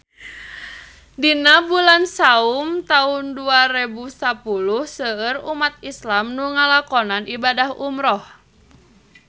Dina bulan Saum taun dua rebu sapuluh seueur umat islam nu ngalakonan ibadah umrah